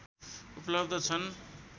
उपलब्ध छन्।